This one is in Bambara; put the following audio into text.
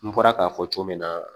N bɔra k'a fɔ cogo min na